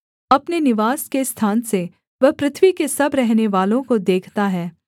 अपने निवास के स्थान से वह पृथ्वी के सब रहनेवालों को देखता है